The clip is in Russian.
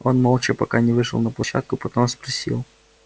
он молчал пока не вышел на площадку потом спросил